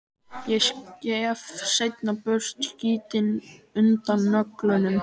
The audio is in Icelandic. Ég skef seinna burt skítinn undan nöglunum.